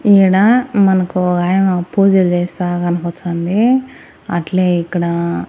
ఈడ మనకు ఓగాయమ పూజలు చేస్తా కనపచాంది అట్లే ఇక్కడ--